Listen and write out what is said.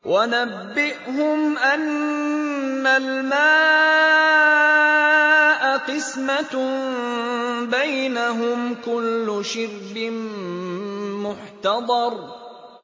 وَنَبِّئْهُمْ أَنَّ الْمَاءَ قِسْمَةٌ بَيْنَهُمْ ۖ كُلُّ شِرْبٍ مُّحْتَضَرٌ